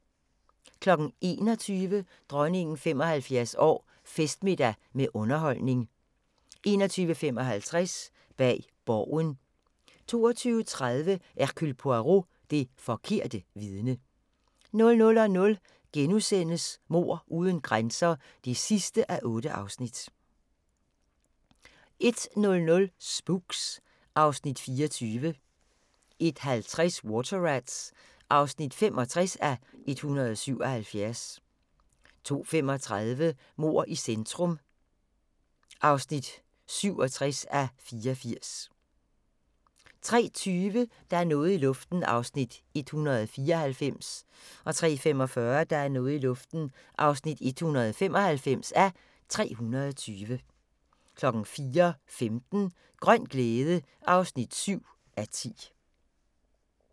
21:00: Dronningen 75 år: Festmiddag med underholdning 21:55: Bag Borgen 22:30: Hercule Poirot: Det forkerte vidne 00:00: Mord uden grænser (8:8)* 01:00: Spooks (Afs. 24) 01:50: Water Rats (65:177) 02:35: Mord i centrum (67:84) 03:20: Der er noget i luften (194:320) 03:45: Der er noget i luften (195:320) 04:15: Grøn glæde (7:10)